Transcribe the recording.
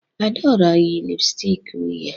Adaora yi lipstick uhie